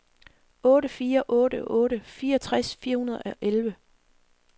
otte fire otte otte fireogtres fire hundrede og elleve